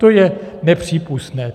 To je nepřípustné.